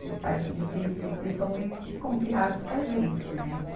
Vocês sabem que, de princípio, eles são meio desconfiados com a gente, né?